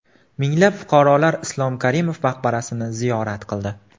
Minglab fuqarolar Islom Karimov maqbarasini ziyorat qildi .